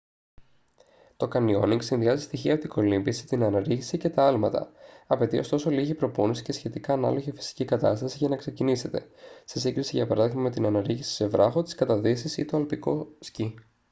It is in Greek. το κανιόνινγκ συνδυάζει στοιχεία από την κολύμβηση την αναρρίχηση και τα άλματα - απαιτεί ωστόσο λίγη προπόνηση και σχετικά ανάλογη φυσική κατάσταση για να ξεκινήσετε σε σύγκριση για παράδειγμα με την αναρρίχηση σε βράχο τις καταδύσεις ή το αλπικό σκι